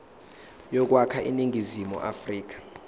yokwakha iningizimu afrika